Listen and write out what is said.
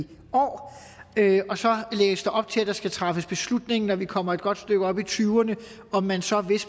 år og så lægges der op til at der skal træffes beslutning når vi kommer et godt stykke op i tyverne om man så hvis